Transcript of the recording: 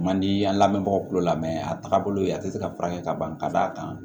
Man di an lamɛnbagaw tulo la a taaga bolo yen a ti se ka furakɛ ka ban ka d'a kan